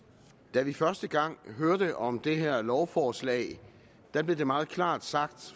da vi første gang hørte om det her lovforslag blev det meget klart sagt